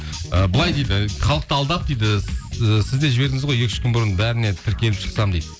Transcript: ы былай дейді халықты алдап дейді і сіз де жібердіңіз ғой екі үш күн бұрын бәріне тіркеліп шықсам дейді